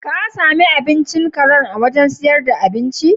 Ka sami abincin karen a wurin sayar da abinci?